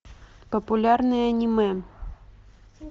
популярные аниме